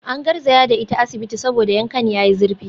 An garzaya da ita asibiti saboda yankan yayi zurfi